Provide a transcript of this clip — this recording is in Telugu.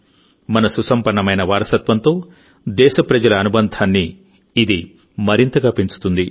మన సుసంపన్నమైన వారసత్వంతో దేశప్రజల అనుబంధాన్ని ఇది మరింతగా పెంచుతుంది